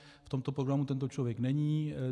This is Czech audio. V tomto programu tento člověk není.